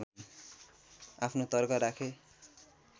आफ्नो तर्क राखे